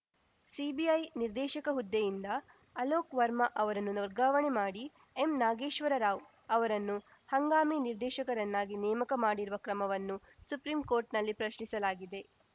CBI ನಿರ್ದೇಶಕ ಹುದ್ದೆಯಿಂದ ಅಲೋಕ್‌ ವರ್ಮ ಅವರನ್ನು ವರ್ಗಾವಣೆ ಮಾಡಿ ಎಂನಾಗೇಶ್ವರ ರಾವ್‌ ಅವರನ್ನು ಹಂಗಾಮಿ ನಿರ್ದೇಶಕರನ್ನಾಗಿ ನೇಮಕ ಮಾಡಿರುವ ಕ್ರಮವನ್ನು ಸುಪ್ರೀಂಕೋರ್ಟ್‌ನಲ್ಲಿ ಪ್ರಶ್ನಿಸಲಾಗಿದೆ